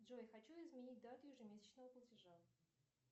джой хочу изменить дату ежемесячного платежа